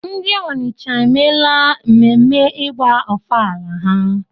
Ndi Onitsha emeela mmemme ịgba ọfala ha?